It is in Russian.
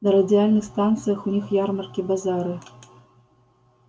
на радиальных станциях у них ярмарки базары